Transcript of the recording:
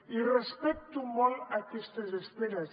i respecto molt aquestes esperes